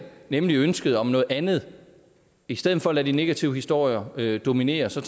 nemlig ønsket om noget andet i stedet for at lade de negative historier dominere så